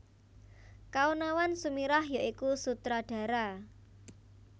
Kaonawan Sumirah ya iku Sutradara